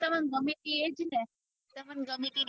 તમને ગમી તી એજ ને તમને